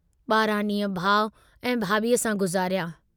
बारहां डींहं भाउ ऐं भाभीअ सां गुज़ारिया।